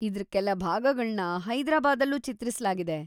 ಇದ್ರ ಕೆಲ ಭಾಗಗಳ್ನ ಹೈದ್ರಾಬಾದಲ್ಲೂ ಚಿತ್ರಿಸ್ಲಾಗಿದೆ.